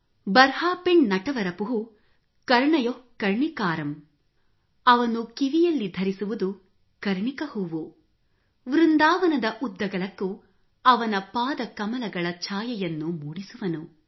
09 ಬರ್ಹಾಪಿಂಡ್ ನಟವರವಪುಃ ಕರ್ಣಯೋಃ ಕರ್ಣಿಕಾರಂ ಅವನು ಕಿವಿಯಲ್ಲಿ ಧರಿಸುವುದು ಕರ್ಣಿಕ ಹೂವು ವೃಂದಾವನದ ಉದ್ದಗಲಕ್ಕೂ ಅವನ ಪಾದಕಮಲಗಳ ಛಾಯೆಯನ್ನು ಮೂಡಿಸುವನು